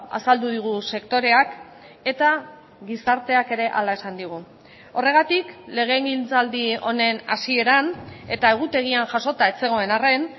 azaldu digu sektoreak eta gizarteak ere hala esan digu horregatik legegintzaldi honen hasieran eta egutegian jasota ez zegoen arren